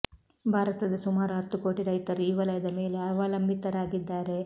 ಭಾರತದ ಸುಮಾರು ಹತ್ತು ಕೋಟಿ ರೈತರು ಈ ವಲಯದ ಮೇಲೆ ಅವಲಂಬಿತರಾಗಿದ್ದಾರೆ